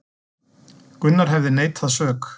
Gunnar hefði neitað sök